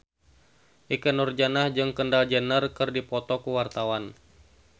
Ikke Nurjanah jeung Kendall Jenner keur dipoto ku wartawan